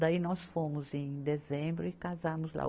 Daí nós fomos em dezembro e casamos lá.